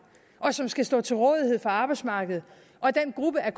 og som skal stå til rådighed for arbejdsmarkedet og den gruppe af